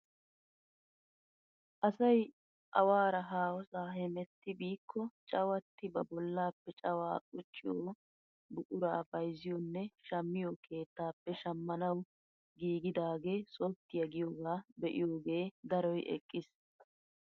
Asay awaara haahossaa hemetti biikko cawattidi ba bollaappe cawaa qucciyoo buquraa bayzziyonne shammiyoo keettaappe shammanawu giigidagee sopttiyaa giyoogaa be'iyooge daroy eqqiis!